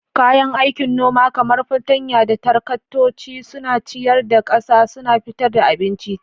Kayan aikin noma kamar fartanya da taraktoci suna ciyar da ƙasa, suna fitar da abinci.